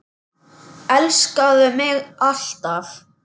Elskaðu mig alt af.